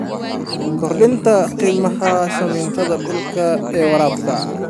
Kordhinta qiimaha sahaminta dhulka ee waraabka.